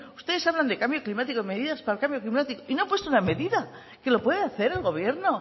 ustedes hablan de cambio climático de medidas para el cambio climático y no han puesto una medida que lo pueda hacer el gobierno